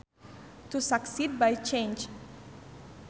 To succeed by chance